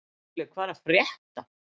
Gulli, hvað er að frétta?